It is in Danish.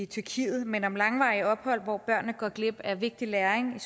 tyrkiet men om langvarige ophold hvor børnene går glip af vigtig læring